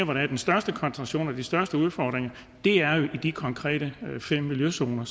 hvor der er den største koncentration og de største udfordringer er jo i de fem konkrete miljøzoner